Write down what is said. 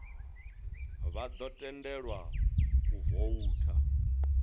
vha ḓo tendelwa u voutha